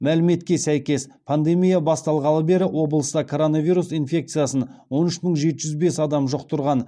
мәліметке сәйкес пандемия басталғалы бері облыста коронавирус инфекциясын онүш мың жеті жүз бес адам жұқтырған